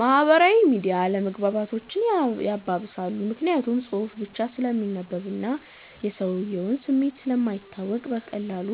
ማህበራዊ ሚዲያ አለመግባባቶችን ያባብሳል። ምክንያቱም ጽሁፍ ብቻ ስለሚነበብና የሰውየው ስሜት ስለማይታወቅ በቀላሉ